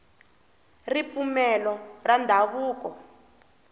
ripfumelo ra ndhavuko